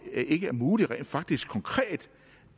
ikke er muligt rent faktisk konkret